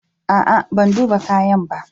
A'a, ban duba kayan ba.